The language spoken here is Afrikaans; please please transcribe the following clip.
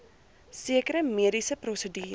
sekere mediese prosedures